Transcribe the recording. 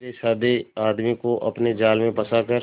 सीधेसाधे आदमी को अपने जाल में फंसा कर